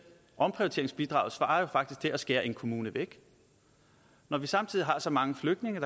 omprioriteringsbidraget svarer jo faktisk til at skære en kommune væk når vi samtidig har så mange flygtninge